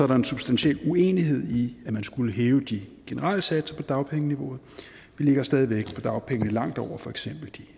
der en substantiel uenighed i at man skulle hæve de generelle satser på dagpengeniveauet vi ligger stadig væk på dagpengene langt over for eksempel de